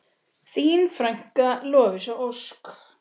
Þín frænka, Lovísa Ósk.